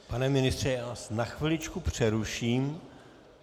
Pane ministře, já vás na chviličku přeruším.